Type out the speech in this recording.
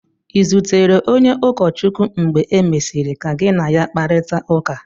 Ị̀ zutere onye ụkọchukwu mgbe e mesịrị ka gị na ya kparịta ụka?